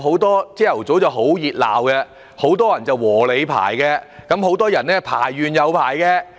投票日早上很熱鬧，很多人"和你排"，也有很多人重複排隊。